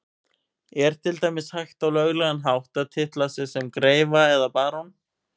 Er til dæmis hægt á löglegan hátt að titla sig sem greifa eða barón?